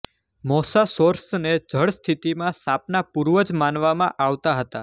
મોસાસૌર્સને જળ સ્થિતિમાં સાપના પૂર્વજ માનવામાં આવતા હતા